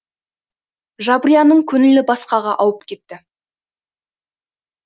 жабрияның көңілі басқаға ауып кетті